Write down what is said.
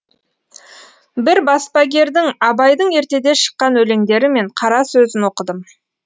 бір баспагердің абайдың ертеде шыққан өлеңдері мен қара сөзін оқыдым